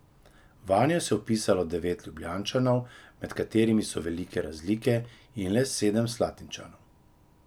Vanjo se je vpisalo devet Ljubljančanov, med katerimi so velike razlike, in le sedem Slatinčanov.